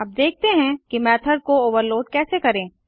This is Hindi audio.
अब देखते हैं कि मैथड़ को ओवरलोड कैसे करें